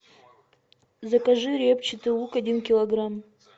закажи репчатый лук один килограмм